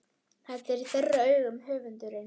Þetta er í þeirra augum höfundurinn